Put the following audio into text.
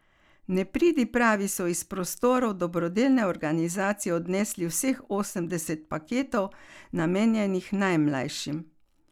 Nepridipravi so iz prostorov dobrodelne organizacije odnesli vseh osemdeset paketov, namenjenih najmlajšim.